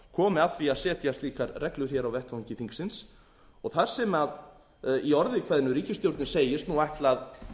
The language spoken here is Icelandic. komi að því að setja slíkar reglur hér á vettvangi þingsins þar sem ríkisstjórnin í orði kveðnu segist ætla að